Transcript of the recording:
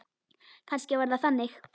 Kannski var það þannig.